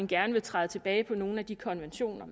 gerne vil træde tilbage på nogle af de konventioner